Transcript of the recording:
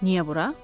Niyə bura?